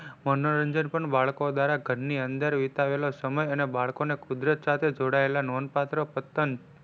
મનોરંજન પણ બાળકો દ્વારા ગાર ની અંદર અને વિતાવેલો સમય અને બાળકોને કુદરત સાથે જોડાયેલા નોંધ પાત્ર પતંન,